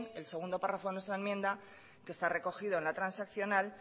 el segundo párrafo de nuestra enmienda que está recogido en la transaccional